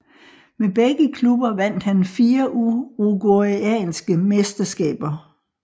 Med begge klubber vandt han fire uruguayanske mesterskaber